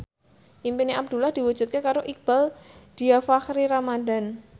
impine Abdullah diwujudke karo Iqbaal Dhiafakhri Ramadhan